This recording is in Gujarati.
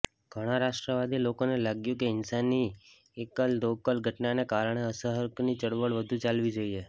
ઘણાં રાષ્ટ્રવાદી લોકોને લાગ્યું કે હિંસાની એકલદોકલ ઘટનાને કારણે અસહકરની ચળવળ વધુ ચાલવી જોઈએ